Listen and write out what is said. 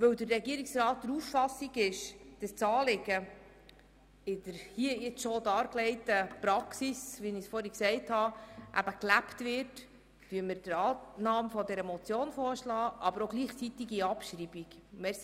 Weil der Regierungsrat der Auffassung ist, das Anliegen werde in der Praxis gelebt, wie ich vorhin dargelegt habe, schlagen wir Annahme der Motion und gleichzeitige Abschreibung vor.